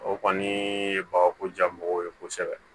O kɔni ye bagako ja mɔgɔw ye kosɛbɛ